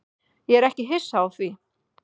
Ég er ekki hissa á því.